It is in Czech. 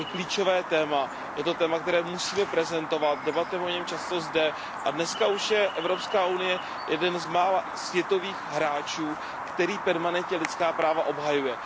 To je klíčové téma, je to téma, které musíme prezentovat, debatujeme o něm často zde a dneska už je Evropská unie jeden z mála světových hráčů, který permanentně lidská práva obhajuje.